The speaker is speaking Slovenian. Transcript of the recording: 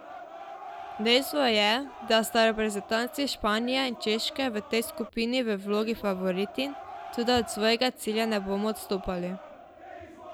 Dejstvo je, da sta reprezentanci Španije in Češke v tej skupini v vlogi favoritinj, toda od svojega cilja ne bomo odstopali.